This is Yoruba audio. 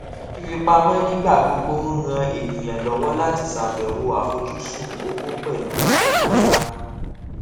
fífipamọ nígbà gbogbo ń ràn ènìyàn lọwọ láti ṣàbẹwò àfojúsùn owó pẹlú àìlera